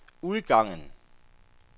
udgangen